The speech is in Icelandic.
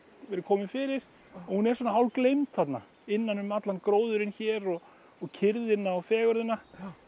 verið komið fyrir og hún er svona þarna innan um allan gróðurinn hér og og kyrrðina og fegurðina